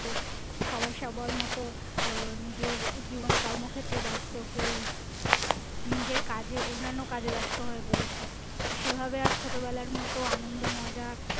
সবাই সবার মতো আহ নিজের জীবনে কর্ম ক্ষেত্রে ব্যাস্ত কেউ নিজের কাজে অন্যান্য কাজে ব্যস্ত হয়ে পড়েছে সেভাবে আর ছোটবেলার মতো আনন্দ মজা